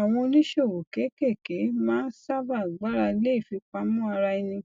àwọn oníṣòwò kéékèèké máa ń sábà gbára lé ìfipamọ ara ẹni